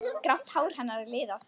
Grátt hár hennar er liðað.